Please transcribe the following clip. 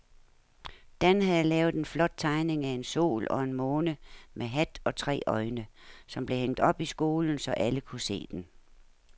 Dan havde lavet en flot tegning af en sol og en måne med hat og tre øjne, som blev hængt op i skolen, så alle kunne se den.